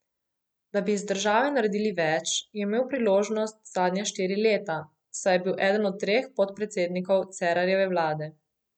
Da bi iz države naredili več, je imel priložnost zadnja štiri leta, saj je bil eden od treh podpredsednikov Cerarjeve vlade.